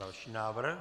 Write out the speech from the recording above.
Další návrh.